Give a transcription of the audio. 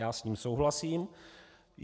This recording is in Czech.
Já s ním souhlasím.